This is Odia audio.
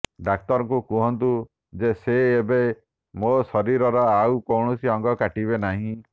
ଡାକ୍ତରଙ୍କୁ କୁହନ୍ତୁ ଯେ ସେ ଏବେ ମୋ ଶରୀରର ଆଉ କୌଣସି ଅଙ୍ଗ କାଟିବେ ନାହିଁ